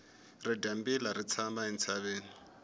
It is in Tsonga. ridyambila ri tshama entshaveni